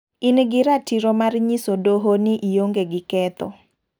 In gi ratiro mar nyiso doho ni ionge gi ketho.